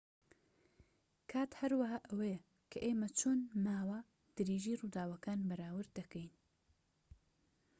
کات هەروەها ئەوەیە کە ئێمە چۆن ماوە درێژی ڕووداوەکان بەراورد دەکەین